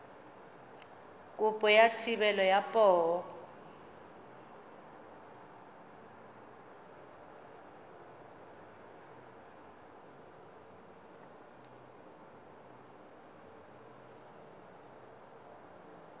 kopo ya thebolo ya poo